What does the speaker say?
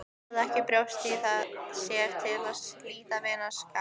Hafði ekki brjóst í sér til að slíta vinskapnum.